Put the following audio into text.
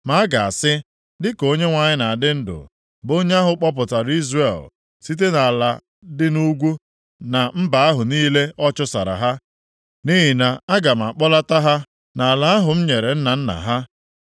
Ma a ga-asị, ‘Dịka Onyenwe anyị na-adị ndụ, bụ onye ahụ kpọpụtara Izrel site nʼala dị nʼugwu, na mba ahụ niile ọ chụsara ha.’ Nʼihi na aga m akpọlata ha nʼala ahụ m nyere nna nna ha.